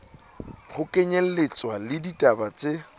ho kenyelletswa le ditaba tse